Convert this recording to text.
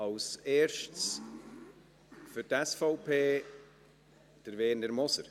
als erster für die SVP: Werner Moser.